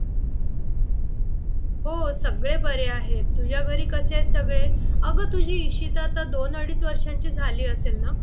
हो सगळे बरे आहेत तुझ्या घरी कसे आहेत सगळे? अगं तुझी इशिता आता दोन अडीच वर्षांची झाली असेल ना?